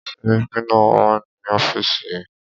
Sẹ́ríkí náà wà ní ọ́fìsì ẹ̀.